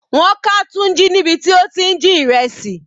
Wọ́n ká Tunji níbi tí ó ti ń jí ìrẹsì.